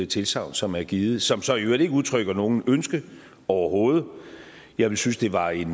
tilsagn som er givet som så i øvrigt ikke udtrykker noget ønske overhovedet jeg ville synes det var en